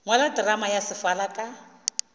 ngwala terama ya sefala ka